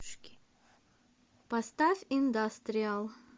поставь индастриал